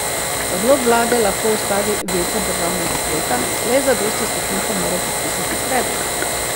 Odlok vlade lahko ustavi veto Državnega sveta, le zadosti svetnikov mora podpisati predlog.